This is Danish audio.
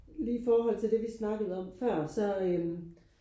Lige i forhold til det vi snakkede om før så øh